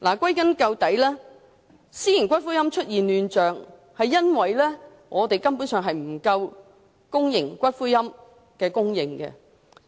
歸根究底，私營龕場出現亂象，根本上源於公營龕位供應不足。